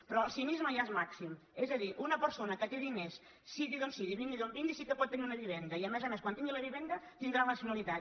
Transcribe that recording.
però el cinisme ja és màxim és a dir una persona que té diners sigui d’on sigui i vingui d’on vingui sí que pot tenir una viven·da i a més a més quan tingui la vivenda tindrà la nacionalitat